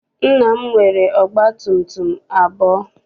Nna m nwere ọgba tum tum abụọ.